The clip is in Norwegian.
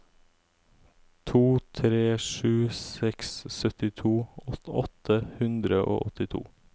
to tre sju seks syttito åtte hundre og åttito